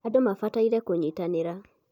andũ mabataire kũnyitanĩra